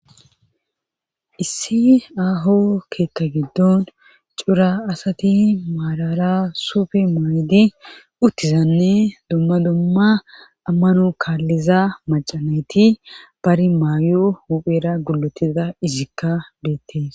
issi aaho keetha giddon cura asati maalala sufe maydi uttizanne domma domma ammanu kaalliza macanayti bari maayo huphera gulotiza izikka deettes